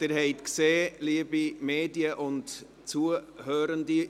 Sie haben gesehen, liebe Medien und Zuhörende: